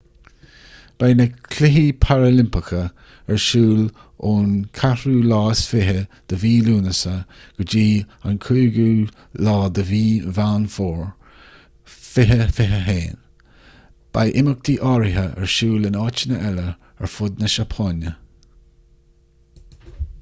beidh na cluichí paralimpeacha ar siúl ón 24 lúnasa go dtí an 5 meán fómhair 2021 beidh imeachtaí áirithe ar siúl in áiteanna eile ar fud na seapáine